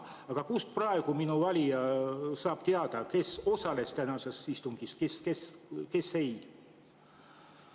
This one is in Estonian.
Aga kust minu valija saab praegu teada, kes osales tänasel istungil ja kes ei?